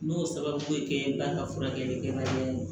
N y'o sababu ye kɛ ba ka furakɛlikɛla ye